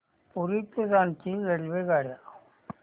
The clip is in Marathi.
पुरी ते रांची रेल्वेगाड्या